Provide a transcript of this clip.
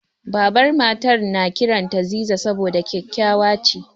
Babar Matar na kiranta Ziza saboda kyakkyawa ce.